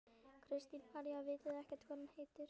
Kristín María: Vitið þið ekkert hvað hún heitir?